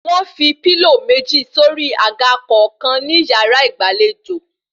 Wọ́n fi pílò méjì sórí àga kọ̀ọ̀kan ní yàrá ìgbàlejò